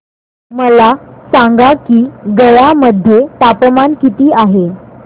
मला सांगा की गया मध्ये तापमान किती आहे